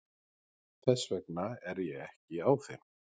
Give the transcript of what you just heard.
Þess vegna er ég ekki á þeim.